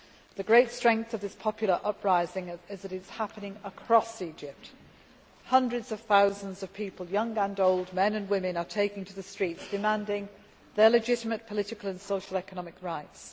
The great strength of this popular uprising is that it is happening across Egypt. Hundreds of thousands of people, young and old, men and women, are taking to the streets, demanding their legitimate political and socio economic rights.